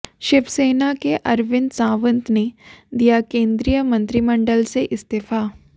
शिवसेना के अरविंद सावंत ने दिया केंद्रीय मंत्रिमंडल से इस्तीफा